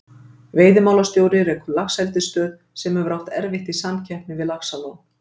Veiðimálastjóri rekur laxeldisstöð, sem hefur átt erfitt í samkeppninni við Laxalón.